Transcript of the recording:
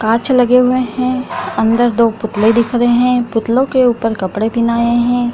कांच लगे हुए हैं अन्दर दो पुतले दिख रहे हैं पुतलो के ऊपर कपड़े पहनाए हैं।